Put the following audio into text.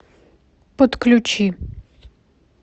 подключи